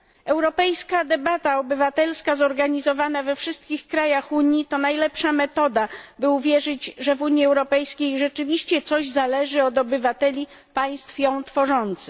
Europejska debata obywatelska zorganizowana we wszystkich krajach Unii to najlepsza metoda, by uwierzyć, że w Unii Europejskiej rzeczywiście coś zależy od obywateli państw ją tworzących.